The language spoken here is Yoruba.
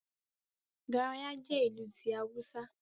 Garaya jẹ́ ìlù ti Awúsá